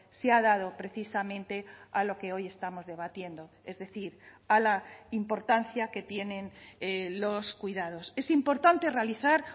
se ha dado precisamente a lo que hoy estamos debatiendo es decir a la importancia que tienen los cuidados es importante realizar